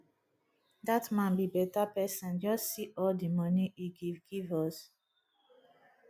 dat man be beta person just see all the money he give give us